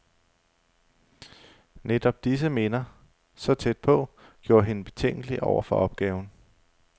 Netop disse minder, så tæt på, gjorde hende betænkelig over for opgaven.